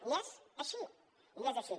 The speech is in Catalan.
i és així i és així